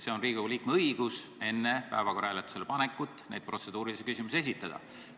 Riigikogu liikmel on õigus enne päevakorra hääletusele panekut neid protseduurilisi küsimusi esitada.